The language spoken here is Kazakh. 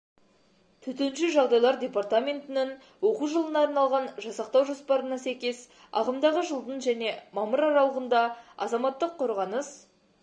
төтенше жағдайлар департаментінің оқу жылына арналған жасақтау жоспарына сәйкес ағымдағы жылдың және мамыр аралығында азаматтық қорғаныс